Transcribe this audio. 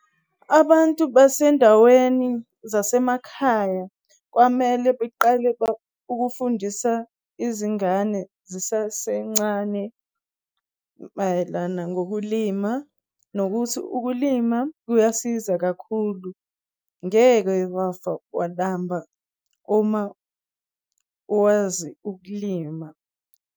Abantu basendaweni zasemakhaya kwamele beqale ukufundisa izingane zisasencane mayelana ngokulima nokuthi ukulima kuyasiza kakhulu, ngeke wafa walamba uma wazi ukulima.